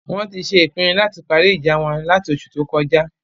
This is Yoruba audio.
Wọn ti ṣe ìpinu lati parí ìjà won lati oṣù tó kọjá